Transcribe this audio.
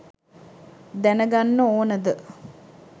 දැනගන්න ඕනද?